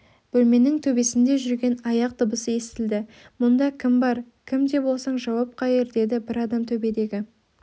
бөлменің төбесінде жүрген аяқ дыбысы естілді мұнда кім бар кім де болсаң жауап қайыр деді бір адам төбедегі